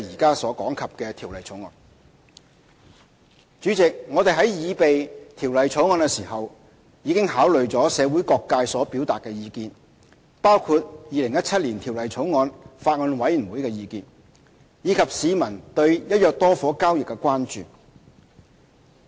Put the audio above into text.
代理主席，我們在擬備《條例草案》時，已考慮社會各界所表達的意見，包括《2017年條例草案》法案委員會的意見，以及市民對"一約多伙"交易的關注。